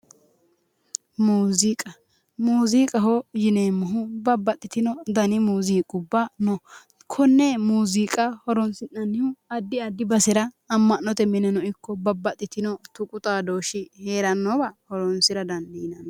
Muuziiqa, muuziiqaho yineemmohu babbaxxatino dani muuziiqubba no. Kunne muuziiqa horoonsi'nannihu addi addi basera amma'note mineno ikko babbaxxitino tuqu xaadooshshe heerannowa horoonsira dandiinanni.